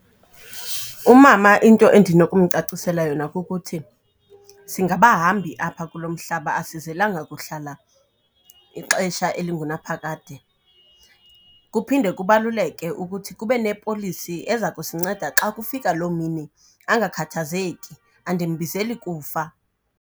Umama into endinokumcacisela yona kukuthi singabahambi apha kulo mhlaba asizelanga kuhlala ixesha elingunaphakade. Kuphinde kubaluleke ukuthi kube nepolisi eza kusinceda xa kufika loo mini, angakhathazeki andimbizeli kufa.